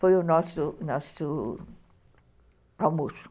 Foi o nosso nosso almoço.